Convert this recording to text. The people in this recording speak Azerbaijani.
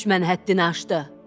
Düşmən həddini aşdı.